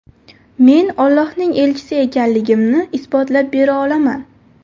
Men Ollohning elchisi ekanligimni isbotlab bera olaman.